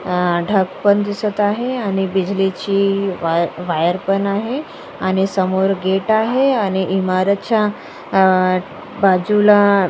अह ढग पण दिसत आहे आणि बिजली ची वाय वायर पण आहे आणि समोर गेट आहे आणि इमारतच्या अ बाजूला--